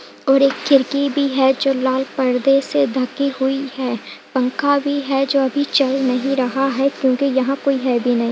और एक खिड़की भी है जो लाल पर्दे से ढ़की हुई है। पंखा भी है जो अभी चल नहीं रहा है क्योंकि यहाँ कोई है भी नहीं।